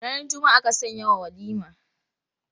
Ranar Juma'a aka sanyawa walima.